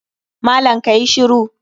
Malam ka yi shiru!